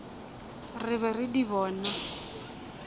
re be re di bona